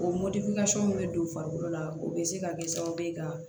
O bɛ don farikolo la o be se ka kɛ sababu ye ka